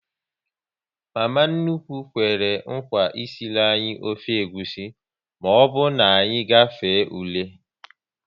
Mama nnukwu kwere nkwa esiri anyị ofe egwusi, maọbụ na anyị gafee ule